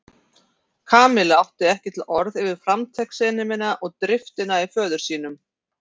Kamilla átti ekki til orð yfir framtakssemina og driftina í föður sínum.